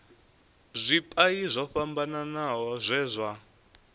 zwipia zwo fhambanaho zwe zwa